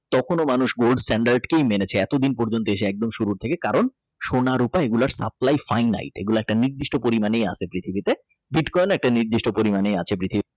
তখনো মানুষ Gold standard কেই মেনেছে এতদিন পর্যন্ত এসে একদম শুরু থেকেই কারণ সোনা রুপা এগুলো Supply thy night এগুলা একটি নির্দিষ্ট পরিমাণে আছে পৃথিবীতে কানে বিটকয়েন ও একটি নির্দিষ্ট পরিমাণেই আছে। পৃথিবীতে।